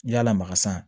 N'i y'a lamaga san